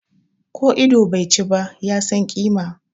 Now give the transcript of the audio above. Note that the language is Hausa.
Ko ido bai chi ba, ya san kima.